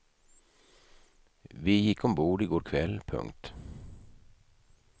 Vi gick ombord i går kväll. punkt